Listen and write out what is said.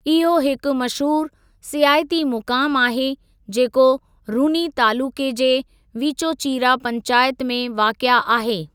इहो हिकु मशहूरु सियाहती मुक़ामु आहे जेको रुनी तालुक़े जे वीचोचीरा पंचायत में वाक़िए आहे।